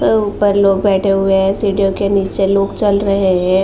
ऊपर लोग बैठे हुए हैं। सीढ़ियों के नीचे लोग चल रहे हैं।